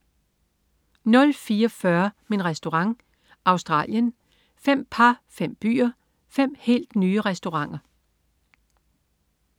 04.40 Min Restaurant. Australien. Fem par, fem byer, fem helt nye restauranter